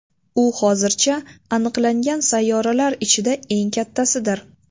U hozircha aniqlangan sayyoralar ichida eng kattasidir.